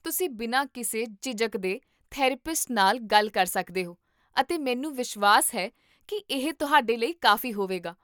ਤੁਸੀਂ ਬਿਨਾਂ ਕਿਸੇ ਝਿਜਕ ਦੇ ਥੈਰੇਪਿਸਟ ਨਾਲ ਗੱਲ ਕਰ ਸਕਦੇ ਹੋ ਅਤੇ ਮੈਨੂੰ ਵਿਸ਼ਵਾਸ ਹੈ ਕੀ ਇਹ ਤੁਹਾਡੇ ਲਈ ਕਾਫ਼ੀ ਹੋਵੇਗਾ